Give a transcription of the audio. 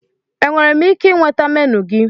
Enwere m ike ịnweta menu gị?